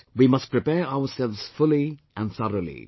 But, we must prepare ourselves fully and thoroughly